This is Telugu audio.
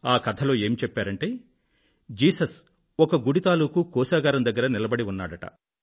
ఆ కథలో ఏం చెప్పారంటే జీసస్ ఒక గుడి తాలూకూ కోశాగారం దగ్గర నిలబడి ఉన్నారట